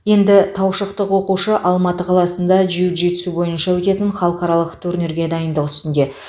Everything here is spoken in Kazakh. енді таушықтық алты оқушы алматы қаласында джиу джитсу бойынша өтетін халықаралық турнирге дайындық үстінде